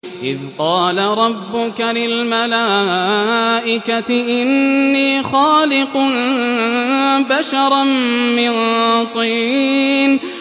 إِذْ قَالَ رَبُّكَ لِلْمَلَائِكَةِ إِنِّي خَالِقٌ بَشَرًا مِّن طِينٍ